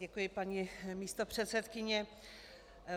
Děkuji, paní místopředsedkyně.